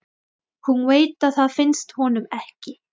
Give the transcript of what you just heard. Hún veit að það finnst honum ekki.